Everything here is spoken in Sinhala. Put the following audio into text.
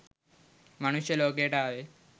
මනුෂ්‍ය ලෝකයට ආවේ